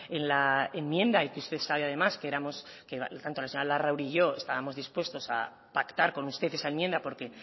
en la enmienda y que usted sabe además que éramos la señora larrauri y yo estábamos dispuestos a pactar con usted esa enmienda porque